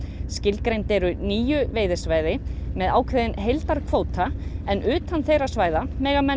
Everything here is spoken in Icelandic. skilgreind eru níu veiðisvæði með ákveðinn heildarkvóta en utan þeirra mega menn